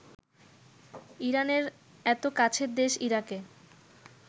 ইরানের এত কাছের দেশ ইরাকে